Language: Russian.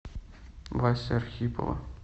васи архипова